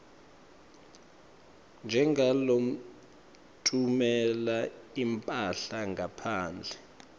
njengalotfumela imphahla ngaphandle